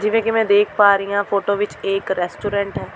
ਜਿਵੇਂ ਕਿ ਮੈਂ ਦੇਖ ਪਾ ਰਹੀਂ ਹਾਂ ਫੋਟੋ ਵਿਚ ਇਹ ਇੱਕ ਰੈਸਟੋਰੈਂਟ ਹੈ।